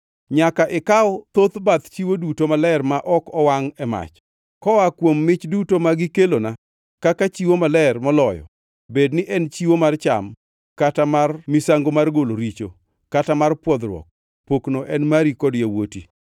Nyaka ikaw thoth bath chiwo duto maler ma ok owangʼ e mach. Koa kuom mich duto ma gikelona kaka chiwo maler moloyo, bedni en chiwo mar cham, kata mar misango mar golo richo kata mar pwodhruok, pokno en mari kod yawuoti.